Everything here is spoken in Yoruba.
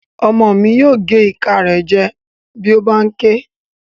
Ọmọ mi yóò gé ìka rẹ̀ jẹ bí ó bá n ké